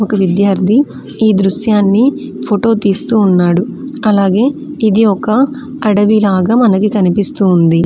ఒక విద్యార్ధి ఈ దృశ్యాన్ని ఫోటో తీస్తూ ఉన్నాడు అలాగే ఇది ఒక అడవిలాగా కనిపిస్తూ ఉంది.